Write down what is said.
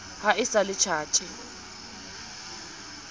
ha e sa le tjhatsi